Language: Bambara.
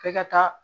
F'e ka taa